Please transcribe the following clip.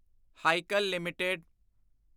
Hikal LTD